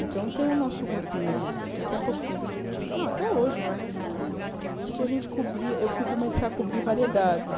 Então, tem o nosso grupinho de, que até pouco tempo a gente tinha... Não, até hoje vai que a gente... Que a gente cobria... Eu fui começar a cobrir variedades.